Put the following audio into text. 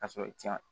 Ka sɔrɔ i ti yan